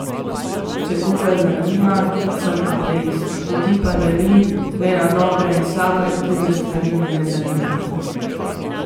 Če koga zanima, sem ateist, ljudi pa delim le na dobre in slabe, druge stvari me ne zanimajo.